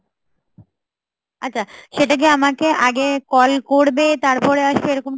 আচ্ছা সেটা কি আমাকে আগে call করবে, তারপরে আসবে এরকম কি